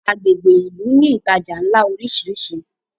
agbègbè ilú ní ìtajà nlá orisiri